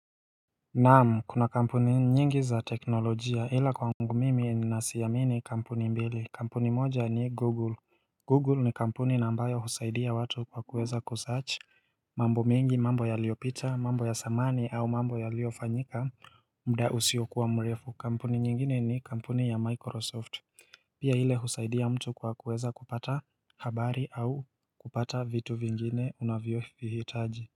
Naamu kuna kampuni nyingi za teknolojia ila kwa ngu mimi ni nasiamini kampuni mbili kampuni moja ni google Google ni kampuni nambayo husaidia watu kwa kuweza kusearch mambo mingi mambo ya liopita mambo ya samani au mambo ya liofanyika muda usiokuwa mrefu kampuni nyingine ni kampuni ya microsoft Pia hile husaidia mtu kwa kuweza kupata habari au kupata vitu vingine unavyo vihitaji.